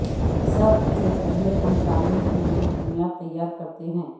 سب سے پہلے ہم تعمیر کے لئے بنیاد تیار کرتے ہیں